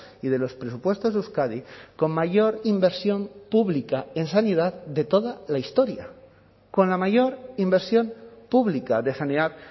y de los presupuestos de euskadi con mayor inversión pública en sanidad de toda la historia con la mayor inversión pública de sanidad